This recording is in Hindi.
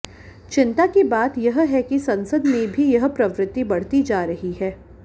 चिंता की बात यह है कि संसद में भी यह प्रवृत्ति बढ़ती जा रही है